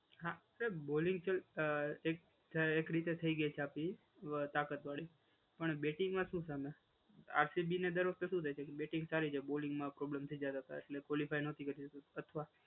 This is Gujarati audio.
હા બોલિંગ ટીમ તો એક રીતે થઈ ગઈ છે આપડી તાકાત વાડી. પણ બેટિંગમાં શું છે હમણાં? આરસીબીને દર વખતે શું થાય છે કે બેટિંગ ચાલી જાય બોલિંગમાં પ્રોબ્લેમ થઈ જાય એ લોકોને એટલે ક્વોલિફાઇ નથી કરતા અથવા